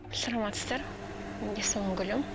саламатсыздар есімім гүлім